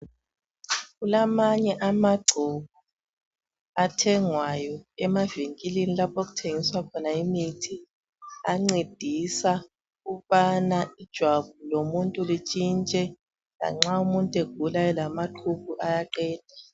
Kulamanye amangcobo athengwayo emavinkilini lapho okuthengwa khona imithi ancedisa ukubana ijwabu lomuntu lintshintshe lanxa umuntu egula elamaqhubu ayaqeda.